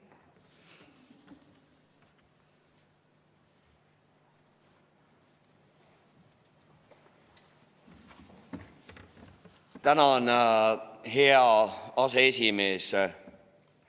Tänan, hea aseesimees!